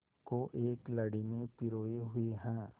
को एक लड़ी में पिरोए हुए हैं